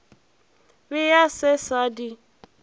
be a se sa di